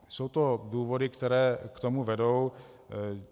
Jsou to důvody, které k tomu vedou.